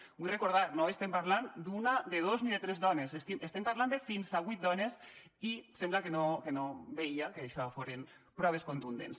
ho vull recordar no estem parlant d’una de dos ni de tres dones estem parlant de fins a vuit dones i sembla que no veia que això foren proves contundents